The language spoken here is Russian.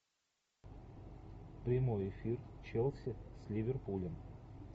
прямой эфир челси с ливерпулем